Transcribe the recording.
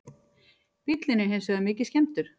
Bíllinn er hins vegar mikið skemmdur